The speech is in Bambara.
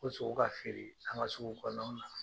Ko sogo ka feere an ka sugu kɔnɔ naw na.